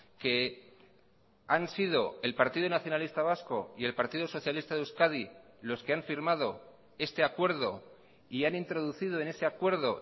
que han sido el partido nacionalista vasco y el partido socialista de euskadi los que han firmado este acuerdo y han introducido en ese acuerdo